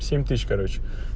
семь тысяч короче